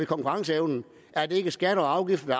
konkurrenceevnen er det ikke skatter og afgifter der